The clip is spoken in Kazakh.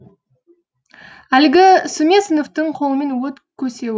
әлгі сүмесіновтің қолымен от көсеуі